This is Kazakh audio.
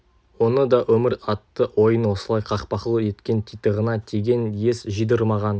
оны да өмір атты ойын осылай қақпақыл еткен титығына тиген ес жидырмаған